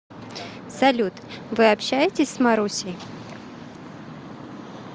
салют вы общаетесь с марусей